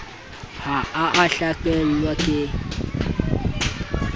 ha a a hlakelwa ke